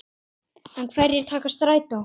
En hverjir taka strætó?